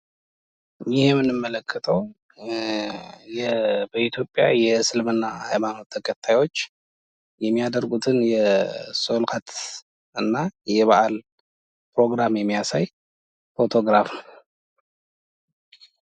ይህ የምንመለከተው በኢትዮጵያ የእስልምና ሃይማኖት ተከታዮች የሚያደርጉትን የሶላት እና የበአል ፕሮግራም የሚያሳይ ፎቶግራፍ ነው።